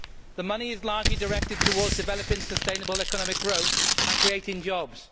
The money is largely directed towards developing sustainable economic growth and creating jobs.